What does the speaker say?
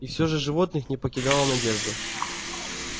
и все же животных не покидала надежда